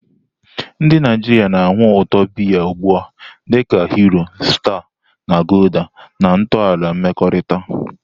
Ndị Naijiria na-anụ ụtọ biya biya ugbu a dị ka Hero, Star, na Gulder na ntọala mmekọrịta.